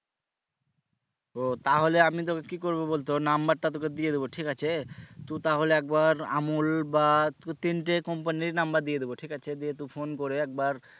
ও তাহলে আমি তোকে কি করবো বলতো number টা তোকে দিয়ে দিবো ঠিক আছে তু তাহলে একবার আমুল বা দু তিনটে company এর number দিয়ে দিবো ঠিক আছে দিয়ে তু phone করে একবার